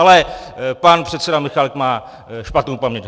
Ale pan předseda Michálek má špatnou paměť.